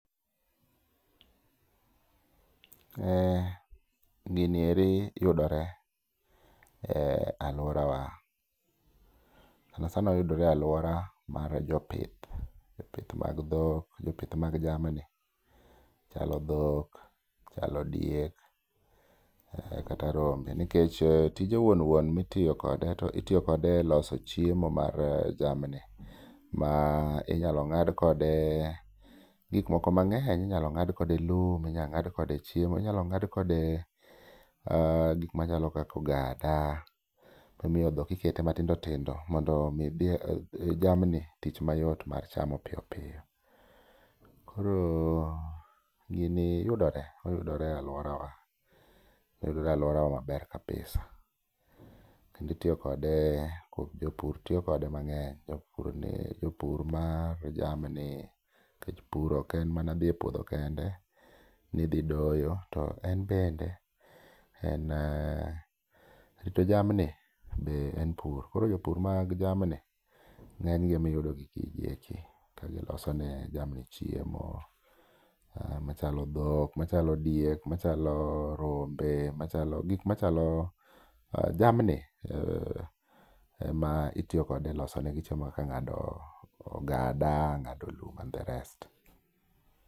Ee gini eri yudore e alwora wa, sana sana oyudore e alwora mar jopith. Jopith mag dhok, jopith mag jamni chalo dhok, chalo diek kata rombe. Nikech tije wuon wuon mitiyo kode to itiyo kode e loso chiemo mar jamni, ma inyalo ng'ad kode gik moko mang'eny. Inyalo ng'ad kode lum, inya ng'ad kode chiemo, inyalo ng'ad kode gik machalo kako ogada. Momiyo dhok ikete matindo tindo mondo mi jamni tich mayot mar chamo piyo piyo. Koro gini yudore, oyudore e alworawa. Oyudore alwora wa maber kabisa, kendi tiyo kode kod jopur tiyo kode mang'eny, jopur ni jopur mar jamni. Nikech pur ok en dhi e puodho kende nidhi doyo, to en bende en rito jamni be en pur. Koro jopur mag jamni ng'eny gi emiyudo gi gigi eki ka giloso ne jamni chiemo. Machalo dhok, machalo diek, machalo rombe, machalo gik machalo jamni ema itiyokode e loso ne gi chiemo kaka ng'ado ogada, ng'ado lum and the rest.